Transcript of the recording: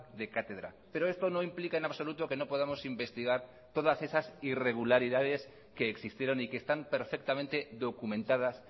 de cátedra pero esto no implica en absoluto que no podamos investigar todas esas irregularidades que existieron y que están perfectamente documentadas